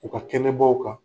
U ka kɛnɛbaw kan.